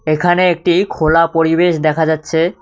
এখানে একটি খোলা পরিবেশ দেখা যাচ্ছে।